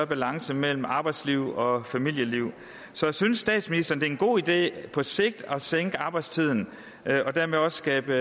balance mellem arbejdsliv og familieliv så synes statsministeren det er en god idé på sigt at sænke arbejdstiden og dermed også skabe